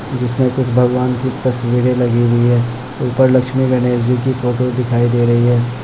जिसमे कृष्ण भगवान की तस्वीर लगी हुई है ऊपर लक्ष्मी गणेश जी की फोटो दिखाई दे रही है ।